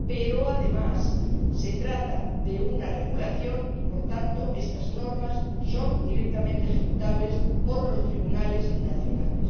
Pero, además, se trata de un reglamento y, por tanto, estas normas son directamente ejecutables por los tribunales nacionales.